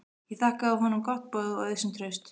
Ég þakkaði honum gott boð og auðsýnt traust.